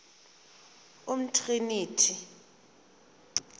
umtriniti